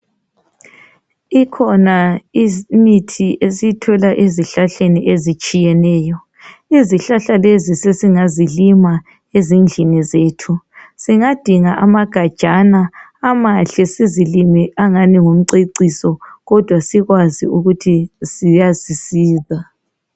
Ikhona imithi esiyithola ezihlahleni ezitshiyeneyo. Izihlahla lezi sesingazilima ezindlini zethu, singadinga amagajana amahle sizilime angani ngumceciso kodwa sikwazi ukuthi ziyasisiza.